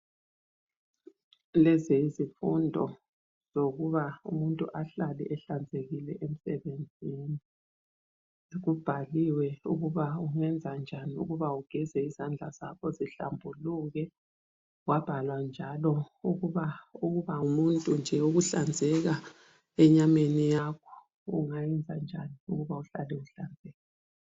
Lezi yizifundo zokuba umuntu ahlale ehlanzekile emsebenzini. Kubhaliwe ukuba ungenzenjani ukuba ugeze izandla zakho zihlambuluke kwabhalwa njalo ukuba ngumuntu nje ukuhlanzeka enyameni yakho ungayenza njani ukuba uhlale uhlanzekile.